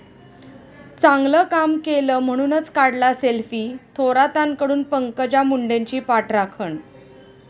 चांगलं काम केलं म्हणूनच काढला सेल्फी, थोरातांकडून पंकजा मुंडेंची पाठराखण